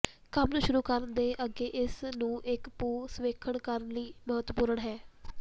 ਕੰਮ ਨੂੰ ਸ਼ੁਰੂ ਕਰਨ ਦੇ ਅੱਗੇ ਇਸ ਨੂੰ ਇੱਕ ਭੂ ਸਰਵੇਖਣ ਕਰਨ ਲਈ ਮਹੱਤਵਪੂਰਨ ਹੈ